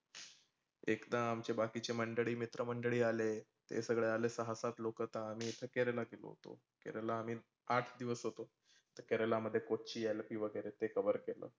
एकदा आमचे बाकिचे मित्र मंडळी आले. ते सगळे आले सहा सात लोक आता आम्ही केरललाचे लोक. केरलला आम्ही आठ दिवस होतो. तर केरला मध्ये कोचीन, अलापे वगैरे ते कवर केलं.